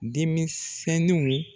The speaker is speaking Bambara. Demisenniw